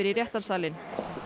í réttarsalinn